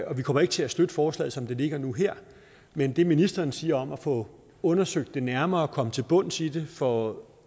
og vi kommer ikke til at støtte forslaget som det ligger nu her men det ministeren siger om at få undersøgt det nærmere komme til bunds i det få